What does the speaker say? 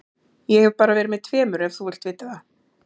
Ég hef bara verið með tveimur ef þú vilt vita það.